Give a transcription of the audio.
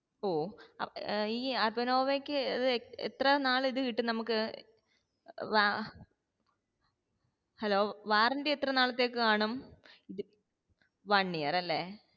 ഓ ഏർ ഈ അർബാനൊവയ്ക്ക് ഏർ എത്റ നാൾ ഇത് കിട്ടും നമ്മക് ഏർ വാ hello warranty എത്ര നാളത്തേക് കാണും ഇത് one year അല്ലെ